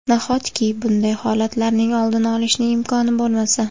Nahotki bunday holatlarning oldini olishning imkoni bo‘lmasa?